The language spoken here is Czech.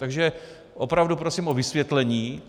Takže opravdu prosím o vysvětlení.